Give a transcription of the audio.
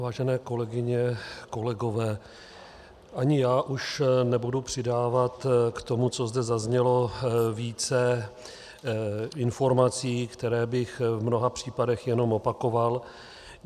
Vážené kolegyně, kolegové, ani já už nebudu přidávat k tomu, co zde zaznělo, více informací, které bych v mnoha případech jenom opakoval.